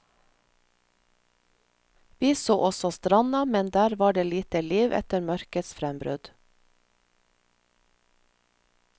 Vi så også stranda, men der var det lite liv etter mørkets frembrudd.